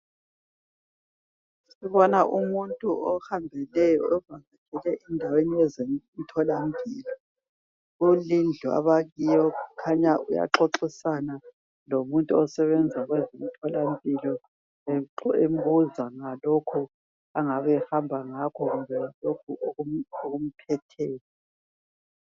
Sibona umuntu ohambele emtholampilo. Ukhanya uxoxisana lomuntu wezempilo embuza ngalokho ahamba ngakho kimbe okumphetheyo.